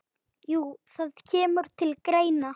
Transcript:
Jú, það kemur til greina.